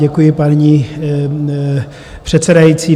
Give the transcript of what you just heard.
Děkuji, paní předsedající.